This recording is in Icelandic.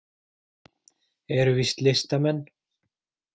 Eru víst listamenn.